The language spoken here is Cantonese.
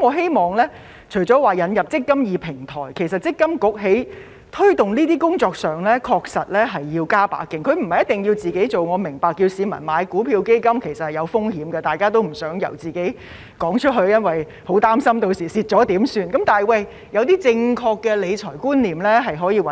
我希望除了引入"積金易"平台外，積金局在推動工作上確實要加把勁，不一定要由自己做，我明白叫市民買股票和基金其實是有風險的，大家也不想開口，擔心日後若有虧損時怎辦，但一些正確的理財觀念可以交由